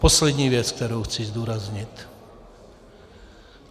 Poslední věc, kterou chci zdůraznit.